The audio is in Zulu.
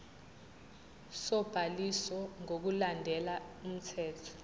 sobhaliso ngokulandela umthetho